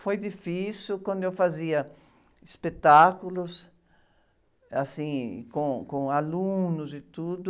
Foi difícil quando eu fazia espetáculos, assim, com, com alunos e tudo.